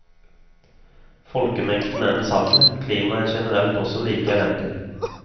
Folkemengden er den samme, klimaet er generelt også like elendig.